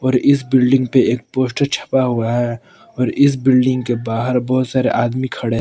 और इस बिल्डिंग पे एक पोस्टर छपा हुआ है और इस बिल्डिंग के बाहर बहुत सारे आदमी खड़े--